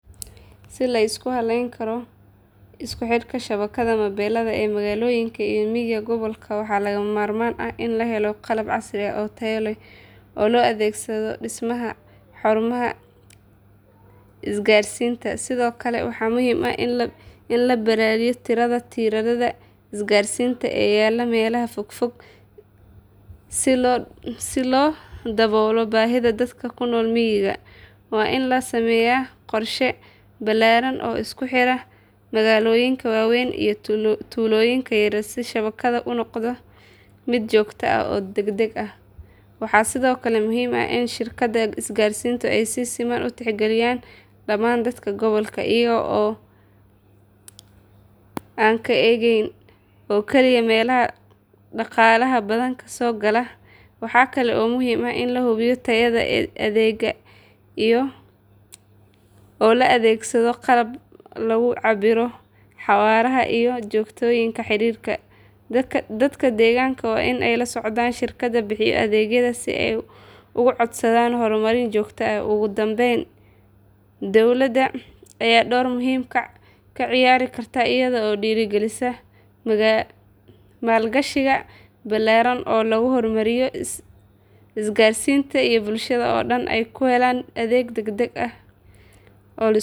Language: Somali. Si la isku hallayn karo isku xidhka shabakada mobilada ee magaalooyinka iyo miyiga gobolkaaga waxa lagama maarmaan ah in la helo qalab casri ah oo tayo leh oo loo adeegsado dhismaha xarumaha isgaarsiinta. Sidoo kale waxa muhiim ah in la ballaadhiyo tirada tiirarada isgaarsiinta ee yaalla meelaha fogfog si loo daboolo baahida dadka ku nool miyiga. Waa in la sameeyaa qorshe ballaadhan oo isku xidha magaalooyinka waaweyn iyo tuulooyinka yaryar si shabakadu u noqoto mid joogto ah oo degdeg ah. Waxaa sidoo kale muhiim ah in shirkadaha isgaarsiintu ay si siman u tixgeliyaan dhamaan dadka gobolka, iyaga oo aan ka eegin oo keliya meelaha dhaqaalaha badan ka soo gala. Waxa kale oo muhiim ah in la hubiyo tayada adeegga iyada oo la adeegsado qalab lagu cabbiro xawaaraha iyo joogtaynta xiriirka. Dadka deegaanka waa inay la socdaan shirkadaha bixiya adeegga si ay uga codsadaan horumarin joogto ah. Ugu dambayn dowladda ayaa door muhiim ah ka ciyaari karta iyada oo dhiirrigelisa maalgashi ballaadhan oo lagu horumarinayo isgaarsiinta si bulshada oo dhan ay u helaan adeeg ah.